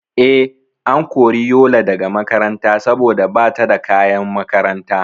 Eh, an kori Yola daga makaranta saboda bata da kayan makaranta